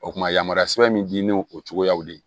O kuma yamaruya sɛbɛn min di ne o cogoyaw de ye